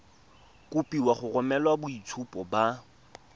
kopiwa go romela boitshupo ba